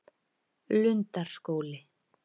Lundarskóli